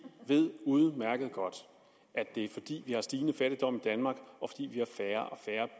ved udmærket godt at det er fordi der er stigende fattigdom